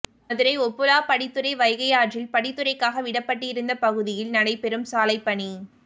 மதுரை ஓபுளாபடித்துறை வைகை ஆற்றில் படித்துறைக்காக விடப்பட்டிருந்த பகுதியில் நடைபெறும் சாலைப்பணி